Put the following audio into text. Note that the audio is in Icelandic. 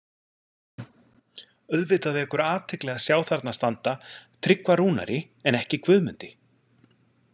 Auðvitað vekur athygli að sjá þarna standa „Tryggva Rúnari“ en ekki „Guðmundi“.